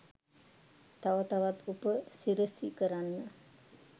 තව තවත් උපසිරසි කරන්න